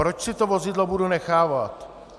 Proč si to vozidlo budu nechávat?